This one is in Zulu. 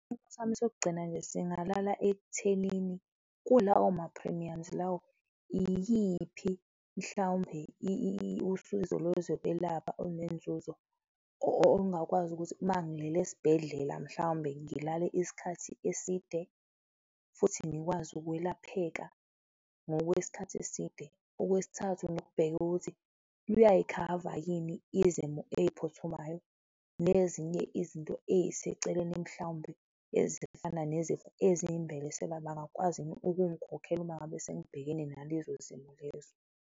Sami sokugcina nje singalala ekuthenini kulawo ma-premiums lawo, iyiphi mhlawumbe usizo lwezokwelapha olunenzuzo ongingakwazi ukuthi mangilele esibhedlela, mhlawumbe ngilale isikhathi eside futhi ngikwazi ukwelapheka ngokwesikhathi eside. Okwesithathu, nokubheka ukuthi luyayikhava yini izimo eyiphuthumayo nezinye izinto eziseceleni mhlawumbe ezifana nezifo ezingibelesela, bangakwazi yini ukungikhokhela uma ngabe sengibhekene nalezo zimo lezo.